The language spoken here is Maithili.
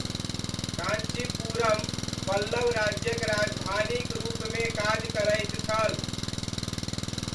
कञ्चीपुरम पल्लव राज्यक राजधानीक रूपमे काज करैत छल।